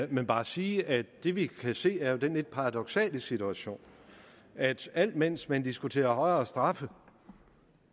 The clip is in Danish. men bare sige at det vi kan se er den lidt paradoksale situation at alt mens man diskuterer højere straffe